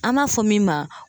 An m'a fɔ min ma